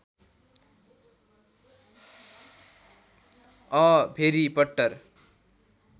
a भेरि पट्टर